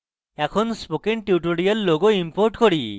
এখন spoken tutorial logo import করি